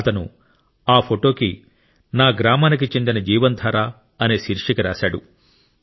అతను ఆ ఫోటోకి నా గ్రామానికి చెందిన జీవన్ ధార అనే శీర్షిక రాశాడు